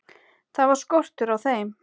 Það var skortur á þeim.